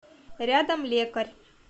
рядом лекарь